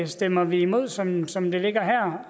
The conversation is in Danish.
stemmer vi imod som som det ligger her